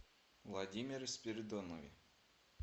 владимире спиридонове